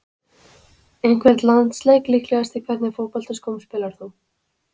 Einhvern landsleik líklegast Í hvernig fótboltaskóm spilar þú?